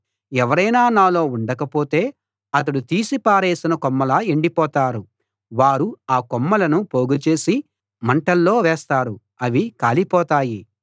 ఎవరైనా నాలో ఉండకపోతే అతడు తీసి పారేసిన కొమ్మలా ఎండిపోతారు వారు ఆ కొమ్మలను పోగుచేసి మంటలో వేస్తారు అవి కాలిపోతాయి